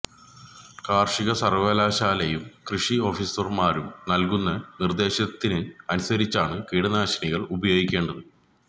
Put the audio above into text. കാർഷിക സർവകലാശാലയും കൃഷി ഓഫിസർമാരും നൽകുന്ന നിർദേശത്തിന് അനുസരിച്ചാണ് കീടനാശിനികൾ ഉപയോഗിക്കേണ്ടത്